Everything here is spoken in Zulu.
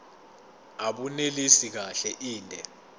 abunelisi kahle inde